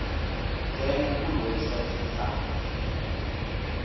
ngena kwiwebsite yesars